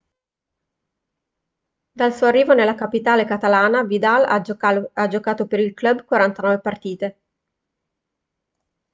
dal suo arrivo nella capitale catalana vidal ha giocato per il club 49 partite